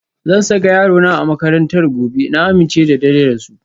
Zan saka yarona a makarantar gobe, na amince da darajar su.